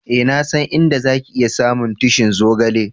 Eh, na san inda za ki iya samu tushi'n zogale.